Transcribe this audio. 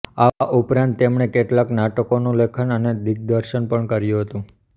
આ ઉપરાંત તેમણે કેટલાંક નાટકોનું લેખન અને દિગ્દર્શન પણ કર્યું હતુ